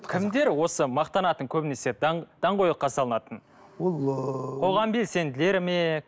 кімдер осы мақтанатын көбінесе даңғойлыққа салынатын ол ыыы қоғам белсенділері ме